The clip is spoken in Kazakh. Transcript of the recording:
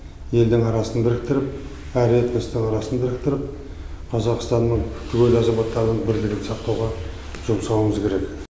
елдің арасын біріктіріп әр этностың арасын біріктіріп қазақстанның түгел азаматтарының бірлігін сақтауға жұмсауымыз керек